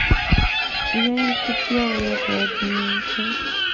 я не хотела этой админки